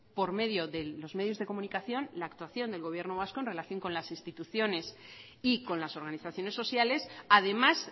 por medio de los medios de comunicación la actuación del gobierno vasco en relación con las instituciones y con las organizaciones sociales además